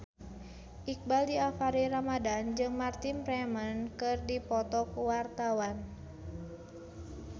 Iqbaal Dhiafakhri Ramadhan jeung Martin Freeman keur dipoto ku wartawan